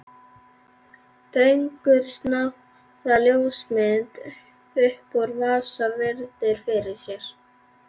Dregur snjáða ljósmynd upp úr vasa og virðir fyrir sér.